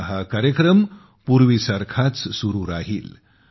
आता हा कार्यक्रम पूर्वीसारखाच सुरू राहील